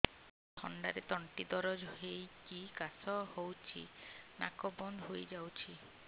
ଥଣ୍ଡାରେ ତଣ୍ଟି ଦରଜ ହେଇକି କାଶ ହଉଚି ନାକ ବନ୍ଦ ହୋଇଯାଉଛି